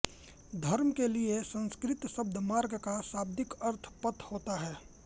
धर्म के लिये संस्कृत शब्द मार्ग का शाब्दिक अर्थ पथ होता है